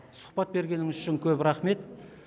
сұхбат бергеніңіз үшін көп рахмет